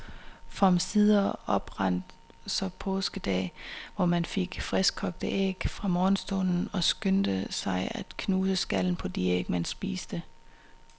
For omsider oprandt så påskedag, hvor man fik friskkogte æg fra morgenstunden og skyndte sig at knuse skallen på de æg, man spiste.